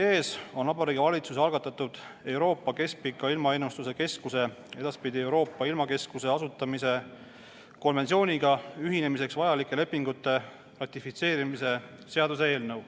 Teie ees on Vabariigi Valitsuse algatatud Euroopa Keskpika Ilmaennustuse Keskuse, edaspidi Euroopa ilmakeskuse asutamise konventsiooniga ühinemiseks vajalike lepingute ratifitseerimise seaduse eelnõu.